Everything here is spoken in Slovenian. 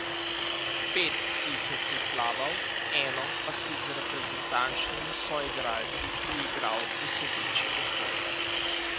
Pet si jih je priplaval, eno pa si z reprezentančnimi soigralci priigral v sedeči odbojki.